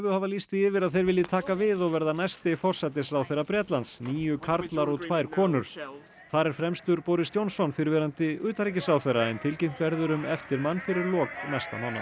hafa lýst því yfir að þeir vilji taka við og verða næsti forsætisráðherra Bretlands níu karlar og tvær konur þar fer fremstur Boris Johnson fyrrverandi utanríkisráðherra en tilkynnt verður um eftirmann fyrir lok næsta mánaðar